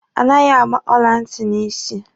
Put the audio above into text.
A naghị agba ọla ntị n'isi.